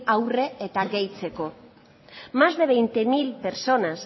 aurre eta gehitzeko más de veinte mil personas